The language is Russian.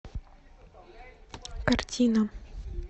картина